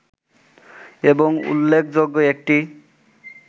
এবং উল্লেখযোগ্য একটি